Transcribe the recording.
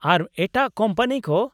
ᱟᱨ ᱮᱴᱟᱜ ᱠᱳᱢᱯᱟᱱᱤ ᱠᱚ ?